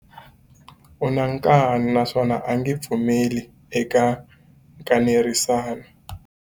U na nkani naswona a nge pfumeli eka nkanerisano.